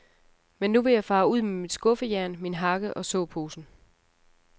Men nu vil jeg fare ud med mit skuffejern, min hakke og såposen.